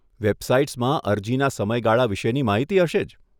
વેબસાઇટ્સમાં અરજીના સમયગાળા વિશેની માહિતી હશે જ.